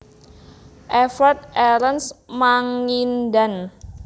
Evert Erenst Mangindaan